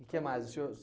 E que mais? O senhor